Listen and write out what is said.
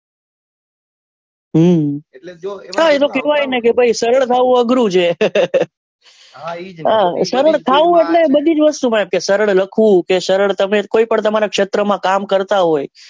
એટલે કેવાય ને કે ભાઈ સરળ થવું અઘરું છે કે સરળ એટલે બધી જ વસ્લતુ માં એમ કે સરળ લખવું સરળ તમારા કોઈ પn ક્ષેત્ર માં કામ કરતા હોય.